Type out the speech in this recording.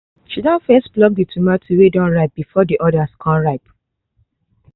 she don first pluck the tomatos wey don ripe before the others con ripe